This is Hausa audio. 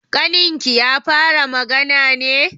Ƙaninki ya fara magana ne?